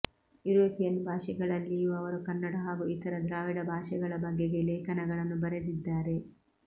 European ಭಾಷೆಗಳಲ್ಲಿಯೂ ಅವರು ಕನ್ನಡ ಹಾಗೂ ಇತರ ದ್ರಾವಿಡ ಭಾಷೆಗಳ ಬಗೆಗೆ ಲೇಖನಗಳನ್ನು ಬರೆದಿದ್ದಾರೆ